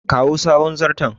kawo sabon zarton